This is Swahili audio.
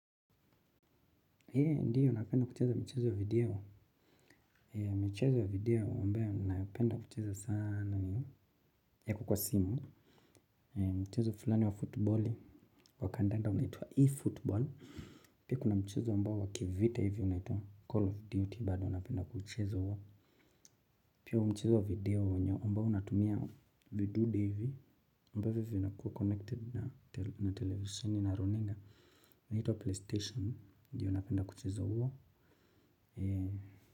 Ndiyo napenda kucheza michezo ya video michezo ya video ambayo ninayopenda kucheza sana ni ya iko kwa simu. Mchezo fulani wa footballi kwa kandanda unaitwa eFootball. Pia kuna mchezo ambao wakivita hivyo unaitwa call of duty bado napenda kuchiza huo. Pia huu mchezo wa video mbao unatumia vidude hivi ambavyo vinakua connected na televiseni au na runinga unaitwa playstation. Ndiyo napenda kuchiza huo.